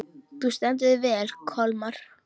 Þú stendur þig vel, Kolmar!